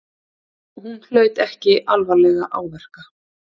Hún hlaut ekki alvarlega áverka